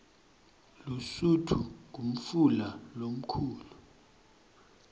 lusutfu ngumfula lomkhulu